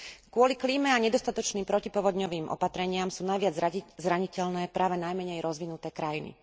Kvôli klíme a nedostatočným protipovodňovým opatreniam sú najviac zraniteľné práve najmenej rozvinuté krajiny.